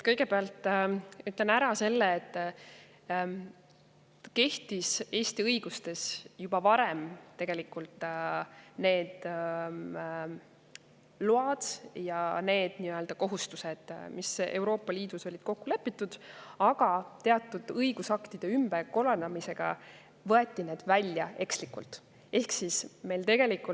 Kõigepealt ütlen ära selle, et Eesti õiguses kehtisid tegelikult juba varem need load ja kohustused, mis Euroopa Liidus olid kokku lepitud, aga teatud õigusaktide ümberkorraldamisega võeti need ekslikult välja.